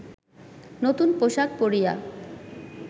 নূতন পোশাক পরিয়া